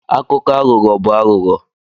Akụkọ aghụghọ bụ aghụghọ.